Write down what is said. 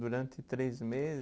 Durante três